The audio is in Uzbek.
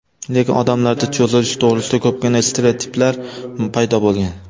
Lekin odamlarda cho‘zilish to‘g‘risida ko‘pgina stereotiplar paydo bo‘lgan.